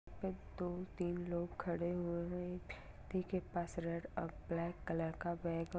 एक दो तीन लोग खड़े हुए है पास रेड अ ब्लैक कलर का बैग --